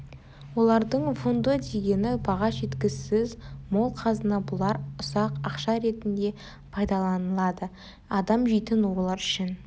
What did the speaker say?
олардың фундо дегені баға жеткісіз мол қазына бұлар ұсақ ақша ретінде пайдаланылады адам жейтін рулар үшін